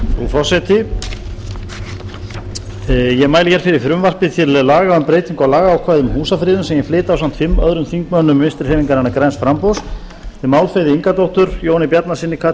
forseti ég mæli hér fyrir frumvarpi til laga um breytingu á lagaákvæðum um húsafriðun sem ég flyt ásamt fimm öðrum þingmönnum vinstri hreyfingarinnar græns framboðs þeim álfheiði ingadóttur jóni bjarnasyni